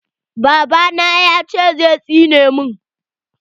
Babana yace zai tsine min.